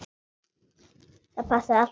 Það passaði allt á mig.